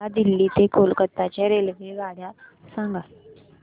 मला दिल्ली ते कोलकता च्या रेल्वेगाड्या सांगा